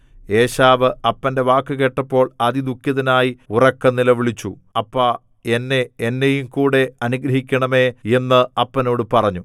ഏശാവ് അപ്പന്റെ വാക്കു കേട്ടപ്പോൾ അതിദുഃഖിതനായി ഉറക്കെ നിലവിളിച്ചു അപ്പാ എന്നെ എന്നെയുംകൂടെ അനുഗ്രഹിക്കണമേ എന്ന് അപ്പനോട് പറഞ്ഞു